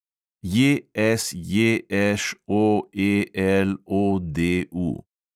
JSJŠOELODU